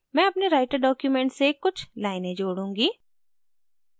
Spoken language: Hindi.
मैं अपने writer document से कुछ लाइनें जोडूँगी